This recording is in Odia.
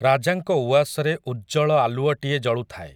ରାଜାଙ୍କ ଉଆସରେ ଉଜ୍ଜଳ ଆଲୁଅଟିଏ ଜଳୁଥାଏ ।